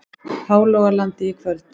Hálogalandi í kvöld.